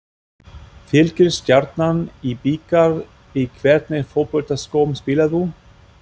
Fylkir-Stjarnan í bikar Í hvernig fótboltaskóm spilar þú?